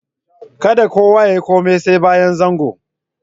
Kadda kowa ya yi komi sai bayan zangon.